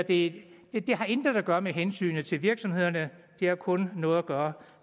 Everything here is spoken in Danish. det har intet at gøre med hensynet til virksomhederne det har kun noget at gøre